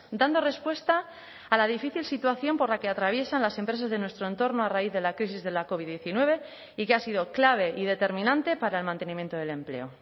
dando respuesta a la difícil situación por la que atraviesan las empresas de nuestro entorno a raíz de la crisis de la covid diecinueve y que ha sido clave y determinante para el mantenimiento del empleo